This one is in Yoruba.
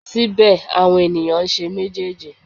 Síbẹ̀ àwọn ènìyàn ń ṣe méjèèjì.